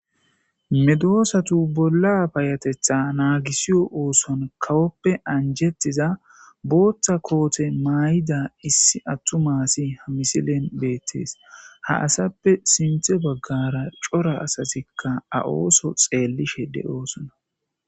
Medosatu bolla bayatetha naagisiyo ooson kawoppe anjettiza booththa koote maay7ida issi attu maasi ha misilen beettees ha asappe sinthe baggara cora asasikka a ooso xeellishe de7oosona.